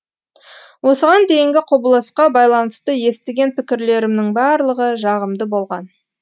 осыған дейінгі құбылысқа байланысты естіген пікірлерімнің барлығы жағымды болған